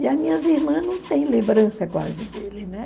E as minhas irmãs não têm lembrança quase dele, né?